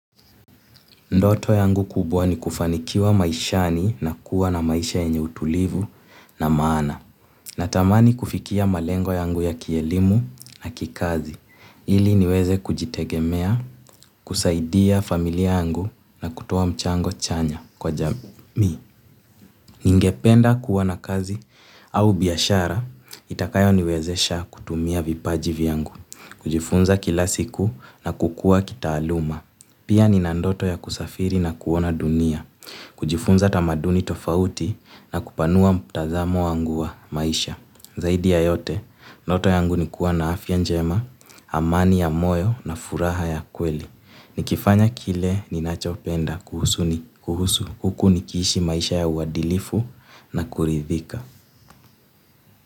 Ndoto yangu kubwa ni kufanikiwa maishani na kuwa na maisha yenye utulivu na maana. Natamani kufikia malengo yangu ya kielimu na kikazi. Ili niweze kujitegemea, kusaidia familia yangu na kutoa mchango chanya kwa jamii. Ningependa kuwa na kazi au biashara, itakayo niwezesha kutumia vipaji vyangu. Kujifunza kila siku na kukua kitaaluma. Pia ni na ndoto ya kusafiri na kuona dunia, kujifunza tamaduni tofauti na kupanua mtazamo wangu wa maisha. Zaidi ya yote, ndoto yangu nikuwa na afya njema, amani ya moyo na furaha ya kweli. Nikifanya kile ninachopenda kuhusu huku nikishi maisha ya uwadilifu na kuridhika.